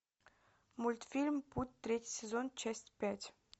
мультфильм путь третий сезон часть пять